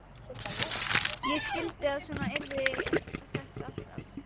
Ég skildi að svona yrði þetta alltaf.